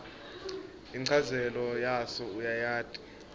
inchazelo yaso uyayati